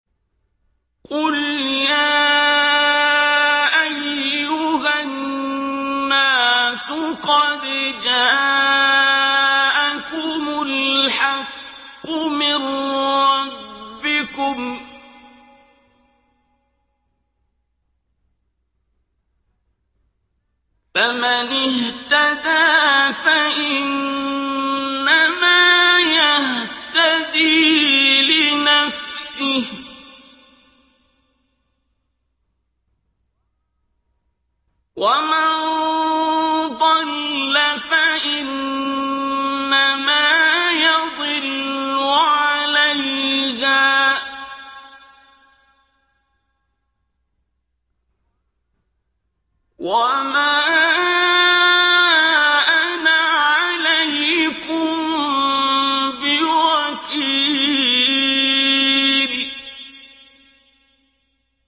قُلْ يَا أَيُّهَا النَّاسُ قَدْ جَاءَكُمُ الْحَقُّ مِن رَّبِّكُمْ ۖ فَمَنِ اهْتَدَىٰ فَإِنَّمَا يَهْتَدِي لِنَفْسِهِ ۖ وَمَن ضَلَّ فَإِنَّمَا يَضِلُّ عَلَيْهَا ۖ وَمَا أَنَا عَلَيْكُم بِوَكِيلٍ